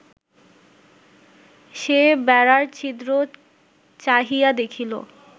সে বেড়ার ছিদ্র চাহিয়া দেখিল